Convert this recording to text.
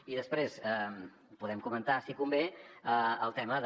i després podem comentar si convé el tema de